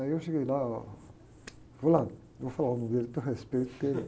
Aí eu cheguei lá, fulano, não vou falar o nome dele, por respeito porque...